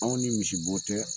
Aw ni misibo tɛ.